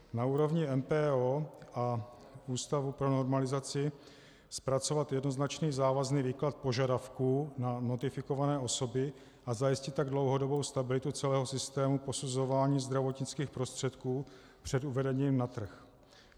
Na úrovni MPO a Ústavu pro normalizaci zpracovat jednoznačný závazný výklad požadavků na notifikované osoby a zajistit tak dlouhodobou stabilitu celého systému posuzování zdravotnických prostředků před uvedením na trh.